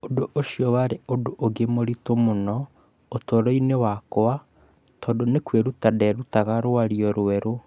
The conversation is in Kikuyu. Ũndũ ũcio warĩ ũndũ ũngĩ mũritũ mũno ũtũũro-inĩ wakwa tondũ nĩ kwĩruta ndeerutaga rwario rwerũ